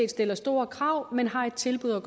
stiller store krav men har et tilbud at